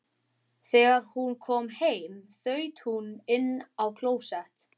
Þegar hún kom heim þaut hún inn á klósett.